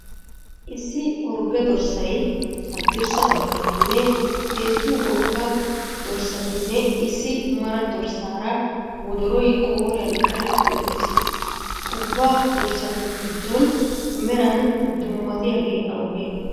Issi orgge darssay haddirssa bagganinne heezzu woga dorssatinne issi mara dorssara wododoroy qooruyan qashsheti uttiis. ubba dorssatu giddon meran dummatiyeege awugee?